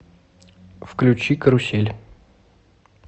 включи карусель